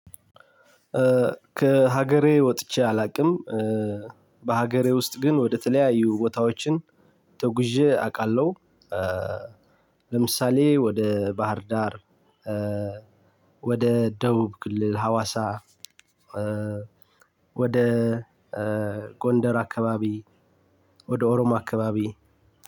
ከሀገሬ ወጥቼ አላውቅም እ በሀገሬ ውስጥ ግን ወደተለያዩ ቦታዎችን ተጉዤ አውቃለሁ። እ ለምሳሌ ወደ ባህር ዳር እ ወደ ደቡብ ክልል ሀዋሳ ወደ እ ጎንደር አከባቢ። ወደ ኦሮሞ አከባቢ